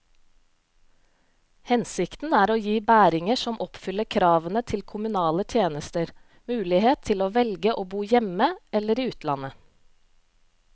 Hensikten er å gi bæringer som oppfyller kravene til kommunale tjenester, mulighet til å velge å bo hjemme eller i utlandet.